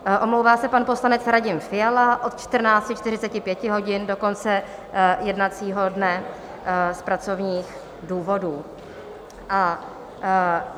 Omlouvá se pan poslanec Radim Fiala od 14.45 hodin do konce jednacího dne z pracovních důvodů.